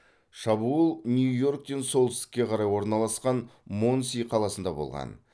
шабуыл нью йорктен солтүстікке қарай орналасқан монси қаласында болған